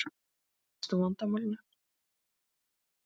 En Lúlli leysti úr vandamálinu.